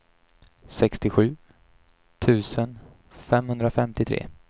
sextiosju tusen femhundrafemtiotre